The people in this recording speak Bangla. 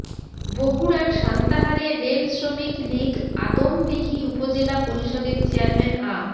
বগুড়ার সান্তাহারে রেল শ্রমিক লীগ আদমদীঘি উপজেলা পরিষদের চেয়ারম্যান আ